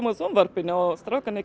sjónvarpinu og strákarnir